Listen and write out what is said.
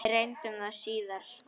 Við reyndum það síðara!